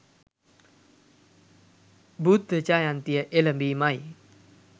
බුද්ධ ජයන්තිය එළඹීමයි.